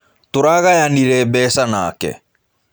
Tũragayanire mbeca nake.